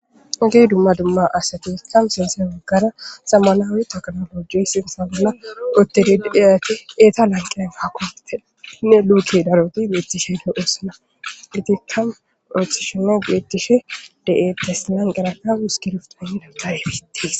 hogey dumma dumma asatikkam sense waggara sammalaawe teknoloji sinsa bolla oottediddeyati eeta lanqea faakopenne luuke daroti beethti shenne oossana irtikam oothishine geetishe de7ettes lanqeraka uskirift pe daggayefiitties